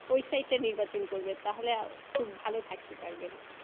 ওই Side তা নির্বাচন করবেন তাহলে খুব থাকতে পারবেন